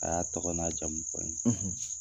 A y'a tɔgɔ n'a jamu fɔ n ye.